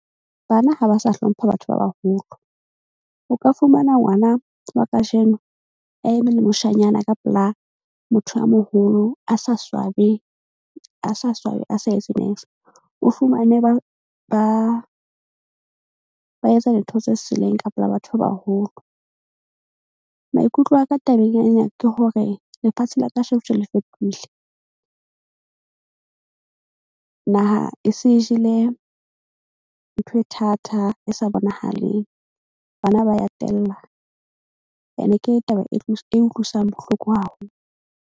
Bana ha ba sa hlompha batho ba baholo. O ka fumana ngwana wa kajeno a eme le moshanyana ka pela motho a moholo a sa swabe, a sa swabe a sa etse . O fumane ba etsa dintho tse seleng ka pela batho ba baholo. Maikutlo a ka tabeng ya ena ke hore lefatshe la ka sheko tjena le fetohile. Naha e se jele ntho e thata e sa bonahaleng. Bana ba ya tella. Ene ke taba e e utlwisang bohloko .